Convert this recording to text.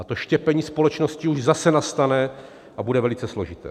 A to štěpení společnosti už zase nastane a bude velice složité.